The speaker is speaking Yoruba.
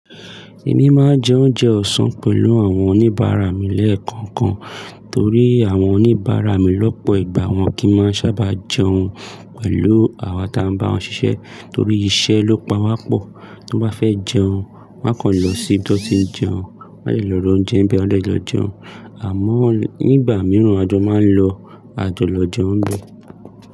Èmi máa jẹ oúnjẹ ọ̀sán pẹ̀lú àwọn oníbàárà mi lẹ́ẹ̀kankan torí àwọn oníbàárà mi lọ́pọ̀ ìgbà wọn kì í máa sábà jẹun pẹ̀lú àwa táa ń bá wọn ṣiṣẹ́ torí iṣẹ́ ló pa wá pọ̀. Tó bá fẹ́ jẹun, wa kàn lọ sí ibi tó ti ń jẹun. Wọn de lọ ra oúnjẹ ń bẹ wa de lọ jẹun àmọ́ nígbà mìíràn a jọ máa ń lọ a jọ lọ jẹun ń bẹ.